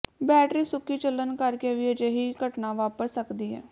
battery ਸੁੱਕੀ ਚੱਲਣ ਕਰ ਕੇ ਵੀ ਅਜਿਹੀ ਘਟਨਾ ਵਾਪਰ ਸਕਦੀ ਹੈ